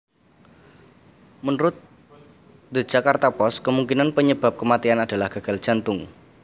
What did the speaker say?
Menurut The Jakarta Post kemungkinan penyebab kematian adalah gagal jantung